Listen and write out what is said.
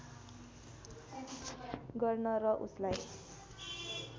गर्न र उसलाई